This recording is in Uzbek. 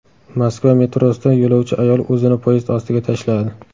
Moskva metrosida yo‘lovchi ayol o‘zini poyezd ostiga tashladi.